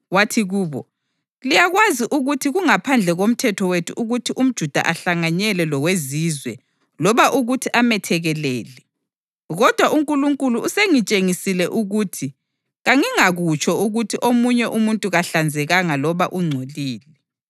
Wathi kubo, “Liyakwazi ukuthi kungaphandle komthetho wethu ukuthi umJuda ahlanganyele loweZizwe loba ukuthi amethekelele. Kodwa uNkulunkulu usengitshengisile ukuthi kangingakutsho ukuthi omunye umuntu kahlanzekanga loba ungcolile.